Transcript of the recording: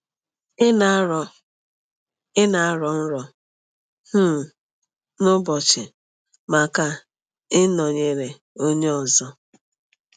Ị na-arọ Ị na-arọ nrọ um n’ụbọchị maka ịnọnyere onye ọzọ?